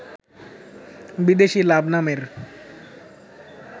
বিদেশি লাভ নামের